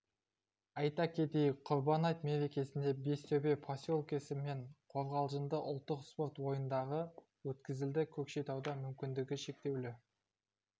айта кетейік құрбан айт мерекесінде бестөбе поселкесі мен қорғалжында ұлттық спорт ойындары өткізілді көкшетауда мүмкіндігі шектеулі